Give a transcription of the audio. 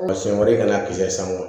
Ma siyɛn wɛrɛ kan'a sanga